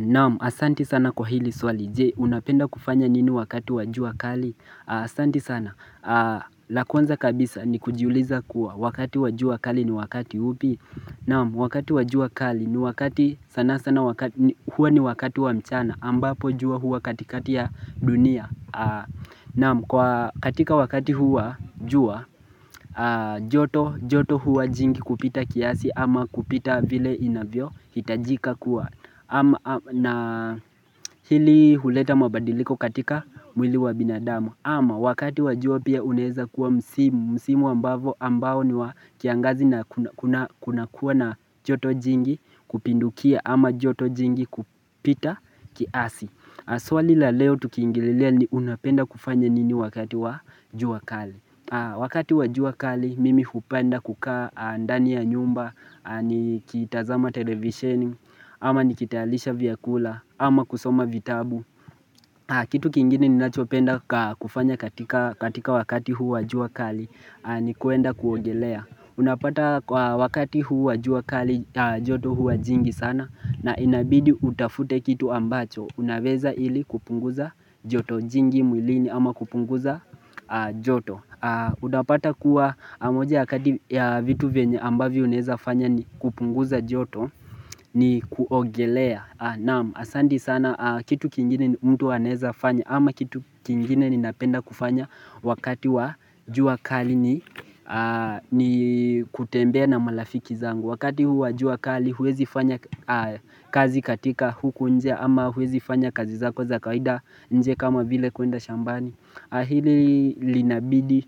Na'am asante sana kwa hili swali. Je unapenda kufanya nini wakati wa jua kali? Asante sana la kwanza kabisa ni kujiuliza kuwa wakati wa jua kali ni wakati upi? Na'am wakati wa jua kali ni wakati, sana sana wakati, hua ni wakati wa mchana ambapo jua hua katikati ya dunia Na'am, katika wakati huu wa jua, joto hua jingi kupita kiasi ama kupita vile inavyohitajika kuwa. Na hili huleta mabadiliko katika mwili wa binadamu. Ama wakati wa jua pia unaeza kuwa msimu ambao ni wa kiangazi. Na kuna kuwa na joto jingi kupindukia ama joto jingi kupita kiasi. Swali la leo tukiingililia ni unapenda kufanya nini wakati wa jua kali Wakati wa jua kali mimi kupenda kukaa ndani ya nyumba nikitazama televisheni ama nikitayarisha vyakula ama kusoma vitabu Kitu kingine ninachopenda kufanya katika katika wakati huu wa jua kali ni kuenda kuogelea. Unapata kwa wakati huu wa jua kali joto hua jingi sana na inabidi utafute kitu ambacho unaweza ili kupunguza joto jingi mwilini ama kupunguza joto. Unapata kuwa moja ya vitu vyenye ambavyo unaeza fanya ni kupunguza joto ni kuogelea. Na'am, asante sana. Kitu kingine mtu anaeza fanya ama kitu kingine ninapenda kufanya wakati wa jua kali ni ni kutembea na marafiki zangu. Wakati wa jua kali huwezi fanya kazi katika huku nje ama huwezi fanya kazi zako za kawaida nje kama vile kuenda shambani. Hili linabidi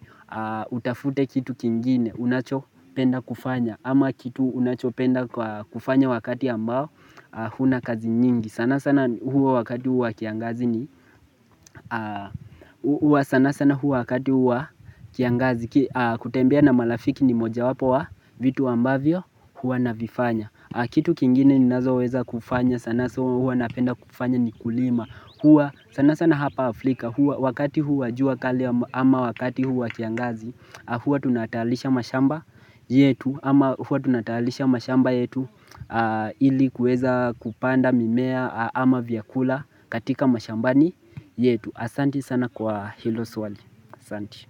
utafute kitu kingine unachopenda kufanya ama kitu unachopenda kufanya wakati ambao huna kazi nyingi. Sana sana hua wakati huu wa kiangazi ni kutembea na marafiki ni mojawapo wa vitu ambavyo hua navifanya. Kitu kingine ninazoweza kufanya sana sana hua napenda kufanya ni kulima. Huwa, sana sana hapa Afrika, wakati huu wa jua kali ama wakati huu wa kiangazi huwa tunatayarisha mashamba yetu, ama huwa tunatayarisha mashamba yetu ili kuweza kupanda mimea ama vyakula katika mashambani yetu. Asante sana kwa hilo swali. Asante.